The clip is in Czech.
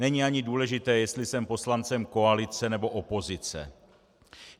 Není ani důležité, jestli jsem poslancem koalice, nebo opozice.